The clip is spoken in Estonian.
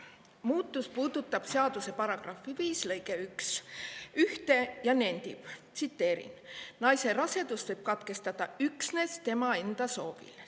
Muutus puudutab seaduse § 5 lõiget 1, mis: "Naise rasedust võib katkestada üksnes tema enda soovil.